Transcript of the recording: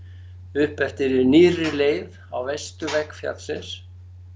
upp eftir nýrri leið á vesturvegg fjallsins